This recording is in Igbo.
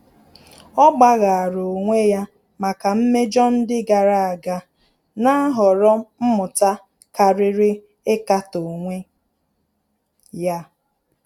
Ọ́ gbàghàrà onwe ya màkà mmejọ ndị gàrà ága, nà-àhọ̀rọ́ mmụta kàrị́rị́ íkàtọ́ onwe ya.